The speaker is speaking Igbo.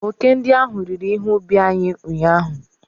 Oke ndị ahụ riri ihe ubi anyị ụnyahụ.